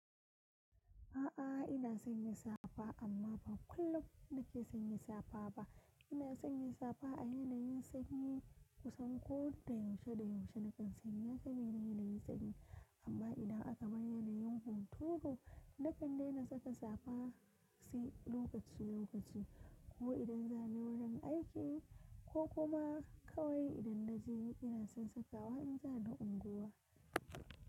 A'a, ina sanya safa amma ba kullum nake sanya safa ba. Ina sanya safa a yanayin sanyi kusan ko da yaushe da yaushe nakan sanya, saboda yanayin sanyi. Amma idan aka bar yanayin hunturu, nakan daina saka safa sai lokaci lokaci. Ko idan zani wurin aiki ko kuma kawai idan na ji ina son sakawa in zani unguwa.